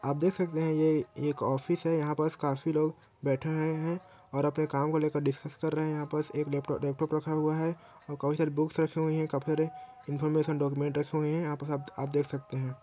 आप देख सकते है ये एक ऑफिस है यहाँ पास काफी लोग बैठे आये है और अपने काम को लेकर डिसकस कर रहे है यहाँ पास एक लैप लैपटॉप रखा हुआ है और काफी सारी बुक्स रखी हुई है काफी सारी इन्फॉर्मेशन डॉक्यूमेंट रखे हुए है यहाँ पास आप-आप देख सकते है।